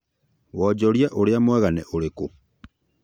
Wanjorithia urĩa mwega nĩ ũrĩkũ